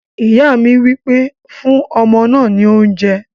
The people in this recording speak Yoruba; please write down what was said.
Ìyá mi wí pé "fún ọmọ náà ní oúnjẹ!"